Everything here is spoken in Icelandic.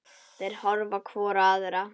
Þær horfa hvor á aðra.